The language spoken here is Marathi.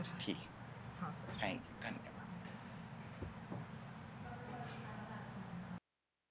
ठीक आहे thank you